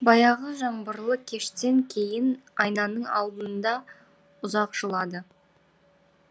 баяғы жаңбырлы кештен кейін айнаның алдыңда ұзақ жылады